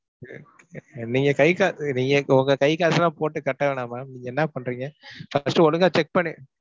நீங்கக் கைக்கா~ நீங்க உங்க கைக்காசெல்லாம் போட்டுக் கட்ட வேணாம் ma'am. நீங்க என்ன பண்றீங்க first ஒழுங்கா check பண்ணி~